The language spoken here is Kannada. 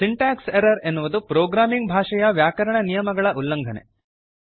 ಸಿಂಟಾಕ್ಸ್ ಎರ್ರರ್ ಎನ್ನುವುದು ಪ್ರೋಗ್ರಾಮಿಂಗ್ ಭಾಷೆಯ ವ್ಯಾಕರಣ ನಿಯಮಗಳ ಉಲ್ಲಂಘನೆ